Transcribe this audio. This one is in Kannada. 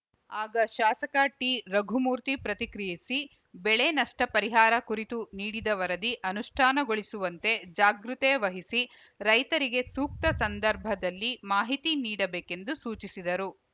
ಆಗ ಶಾಸಕ ಟಿರಘುಮೂರ್ತಿ ಪ್ರತಿಕ್ರಿಯಿಸಿ ಬೆಳೆ ನಷ್ಟಪರಿಹಾರ ಕುರಿತು ನೀಡಿದ ವರದಿ ಅನುಷ್ಠಾನಗೊಳಿಸುವಂತೆ ಜಾಗೃತೆ ವಹಿಸಿ ರೈತರಿಗೆ ಸೂಕ್ತ ಸಂದರ್ಭದಲ್ಲಿ ಮಾಹಿತಿ ನೀಡಬೇಕೆಂದು ಸೂಚಿಸಿದರು